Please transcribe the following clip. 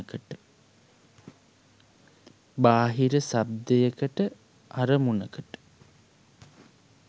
බාහිර ශබ්දයකට අරමුණකට